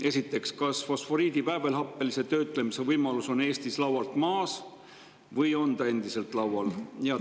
Esiteks: kas fosforiidi väävelhappelise töötlemise võimalus Eestis on laualt maas või on see endiselt laual?